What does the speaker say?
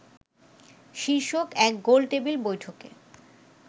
শীর্ষক এক গোলটেবিল বৈঠকে